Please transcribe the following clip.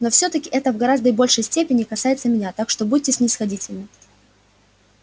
но всё-таки это в гораздо большей степени касается меня так что будьте снисходительны